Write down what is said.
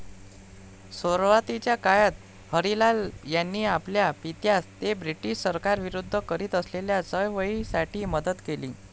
सुरवातीच्या काळात हरिलाल यांनी आपल्या पित्यास ते ब्रिटिश सरकारविरुद्ध करीत असलेल्या चळवळीसाठी मदत केली.